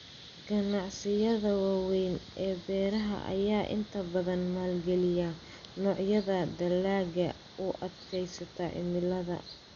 Ganacsiyada waaweyn ee beeraha ayaa inta badan maalgeliya noocyada dalagga u adkaysta cimilada.